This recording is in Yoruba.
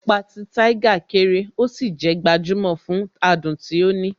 Ẹ̀pà ti Tiger kéré, ó sì jé gbajumo fún adùn tí ó ní.